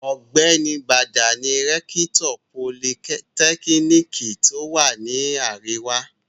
Ọ̀gbẹ́ni Bàdà ni rẹ́kítọ̀ politẹ́kíníkì tí ó wà ní àríwá.